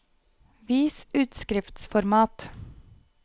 Vis utskriftsformat